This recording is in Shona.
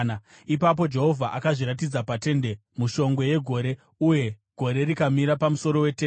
Ipapo Jehovha akazviratidza paTende mushongwe yegore, uye gore rikamira pamusuo weTende.